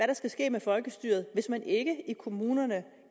der skal ske med folkestyret hvis man ikke i kommunerne